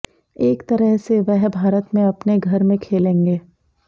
एक तरह से वह भारत में अपने घर में खेलेंगे